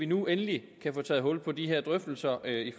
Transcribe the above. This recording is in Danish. nu endelig kan blive taget hul på de her drøftelser i